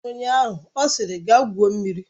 Ụnyaahụ ọ sịrị, gaa gwuo mmiri!